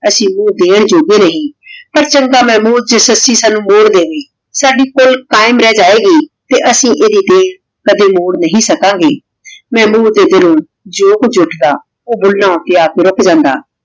ਅਸੀਂ ਕੁਜ ਦੀਨ ਜੋਗੇ ਨਹੀ ਤੇ ਚੰਗਾ ਮੇਹਬੂਬ ਜੇ ਸੱਸੀ ਸਾਨੂ ਮੋਰ ਦੇਵੇਨ ਸਾਡੀ ਕੁਲ ਕਾਇਮ ਰਹ ਜਾਵੇ ਗੀ ਤੇ ਅਸੀਂ ਏਡੀ ਦੀਨ ਕਦੀ ਮੋਰ ਨਹੀ ਸਕਣ ਗੇ ਮੇਹਬੂਬ ਨੇ ਦਿਲ ਨੂ ਜੋ ਕੁਜ ਉਠਦਾ ਊ ਦਿਲ ਊਟੀ ਹੇਠ ਰਖ ਲੇੰਦਾ